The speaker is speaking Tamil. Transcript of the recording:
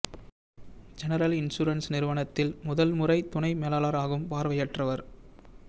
ஜெனரல் இன்சூரன்ஸ் நிறுவனத்தில் முதல் முறை துணை மேலாளர் ஆகும் பார்வையற்றவர்